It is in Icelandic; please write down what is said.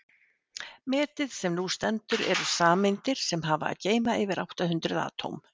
metið sem nú stendur eru sameindir sem hafa að geyma yfir átta hundruð atóm